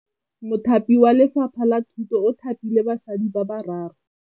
Mothapi wa Lefapha la Thutô o thapile basadi ba ba raro.